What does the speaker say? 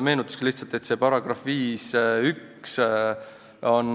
Meenutuseks ütlen lihtsalt, et see § 51 on